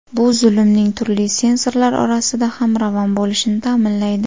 Bu zumning turli sensorlar orasida ham ravon bo‘lishini ta’minlaydi.